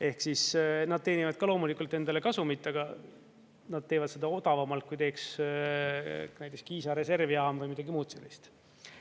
Ehk siis nad teenivad ka loomulikult endale kasumit, aga nad teevad seda odavamalt, kui teeks näiteks Kiisa reservjaam või midagi muud sellist.